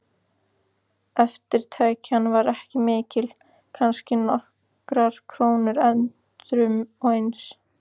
Eftirtekjan var ekki mikil, kannski nokkrar krónur endrum og eins.